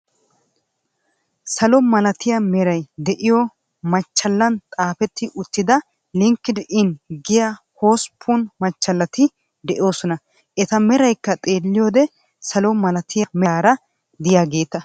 Salo malatiya meray de'iyo machchallan xaafeti uttida linked in giya hossppun machallati de'oosona. Eta meraykka xeeliyode salo malatiya meraara de'iyageeta.